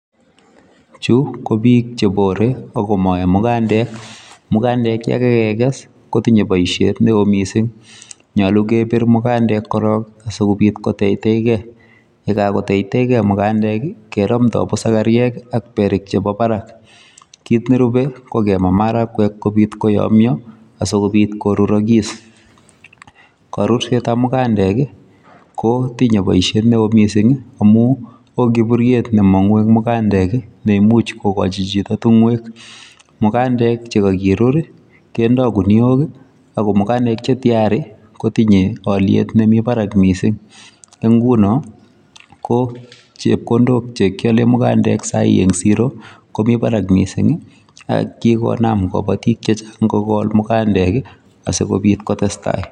Chu ko biik chebore, akomae mugandek. Mugandek che kakekes kotinye boisiet neoo missing. Nyolu kepir mugandek korok, asikobit koteiteikey. Yekagoteiteikey mugandek, keramdoi pusakariek, ak berik chebo barak . Kit nerubei, ko kemaa maragwek kobit koyamyoo, asikobiit korurokis. Karursetab mugandek, kotinye boisiet neoo missing, amuu oo kiburiet ne mongu eng' mugandek, ne imuch kokochi chito tung'uek. Mugandek che kakirur, kendoi guniok, ago mugandek che tiyari, kotinye aliet nemii barak missing. Ne nguno, ko chepkondok che kiale mugandek sahii eng' siro komii barak missing, akigonam kabatik chechang' kogol mugandek, asikobit kotestai